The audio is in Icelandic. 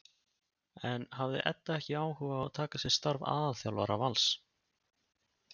En hafði Edda ekki áhuga á að taka að sér starf aðalþjálfara Vals?